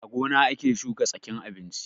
A gona ake shuka tsakin abinchi